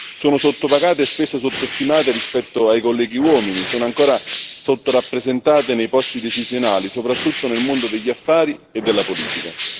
sono sottopagate e spesso sottostimate rispetto ai colleghi uomini e sono ancora sottorappresentate nei posti decisionali, soprattutto nel mondo degli affari e della politica.